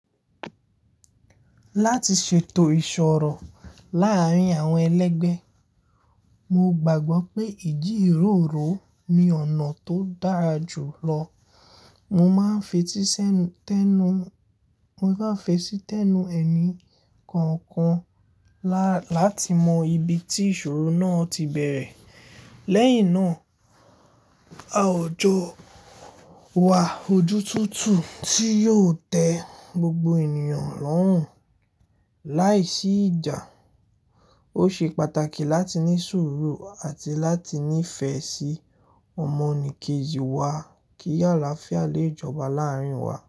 Láti ṣètò ìṣòro láàárín àwọn ẹlẹgbẹ́, mo gbàgbọ́ pé ìdí ìróró ni ọ̀nà tó dára jù lọ. Mo máa ń fetísi tẹ́nu, mo máa ń fetísi tẹ́nu ẹni kọ̀ọ̀kan láti mọ ibi tí ìṣòro náà ti bẹ̀rẹ̀. Lẹ́yìn náà, a ò jo wa ojú tútù tí yóò tẹ gbogbo ènìyàn lọ́rùn láìsí ìjà. Ó ṣe pàtàkì láti ní sùúrù àti láti ní ìfẹ́ sí ọmọnìkejì wa kí àlàáfíà lè jọba láàárín wa.